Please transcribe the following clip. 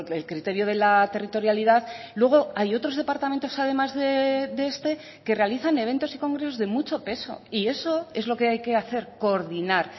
el criterio de la territorialidad luego hay otros departamentos además de este que realizan eventos y congresos de mucho peso y eso es lo que hay que hacer coordinar